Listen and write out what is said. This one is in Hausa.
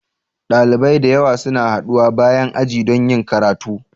Dalibai da yawa suna haɗuwa bayan aji don yin karatu.